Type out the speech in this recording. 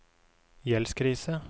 gjeldskrise